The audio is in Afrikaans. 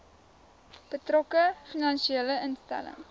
betrokke finansiële instelling